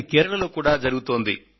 కేరళలో కూడా జరుగుతోంది